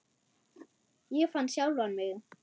Ég fann sjálfan mig.